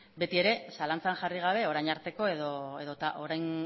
betiere zalantzan jarri gabe orain arteko edota